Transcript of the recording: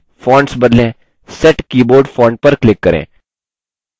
मौजूदा keyboard में font बदलें